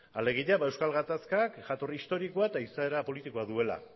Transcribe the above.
alegia euskal gatazkak jatorri historikoa eta izaera politikoa duela